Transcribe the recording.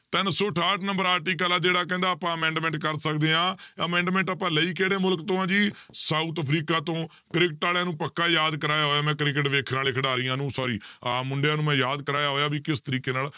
ਤਿੰਨ ਸੌ ਅਠਾਹਠ number article ਆ ਜਿਹੜਾ ਕਹਿੰਦਾ ਆਪਾਂ amendment ਕਰ ਸਕਦੇ ਹਾਂ amendment ਆਪਾਂ ਲਈ ਕਿਹੜੇ ਮੁਲਕ ਤੋਂ ਆ ਜੀ south ਅਫ਼ਰੀਕਾ ਤੋਂ ਕ੍ਰਿਕਟ ਵਾਲਿਆਂ ਨੂੰ ਪੱਕਾ ਯਾਦ ਕਰਵਾਇਆ ਹੋਇਆ ਮੈਂ ਕ੍ਰਿਕਟ ਵੇਖਣ ਵਾਲੇ ਖਿਡਾਰੀਆਂ ਨੂੰ sorry ਆਹ ਮੁੰਡਿਆਂ ਨੂੰ ਮੈਂ ਯਾਦ ਕਰਵਾਇਆ ਹੋਇਆ ਵੀ ਕਿਸ ਤਰੀਕੇ ਨਾਲ